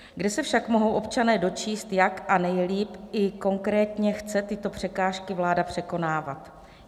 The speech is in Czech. Kde se však mohou občané dočíst, jak a nejlíp i konkrétně chce tyto překážky vláda překonávat?